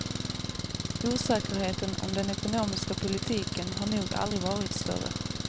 Osäkerheten om den ekonomiska politiken har nog aldrig varit större.